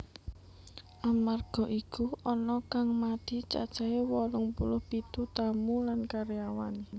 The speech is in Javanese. Amarga iku ana kang mati cacahé wolung puluh pitu tamu lan karyawan